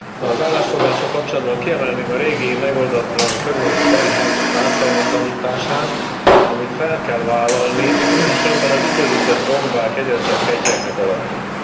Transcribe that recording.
Elnök Asszony, az állásfoglalással kapcsolatban kiemelném a régi megoldatlan környezeti terhek ártalmatlanítását, amit fel kell vállalni, különben az időzített bombák egyre csak ketyegnek alattunk.